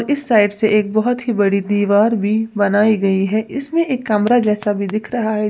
इस साइड से एक बहुत ही बड़ी दीवार भी बनाई गई है इसमें एक कमरा जैसा भी दिख रहा है।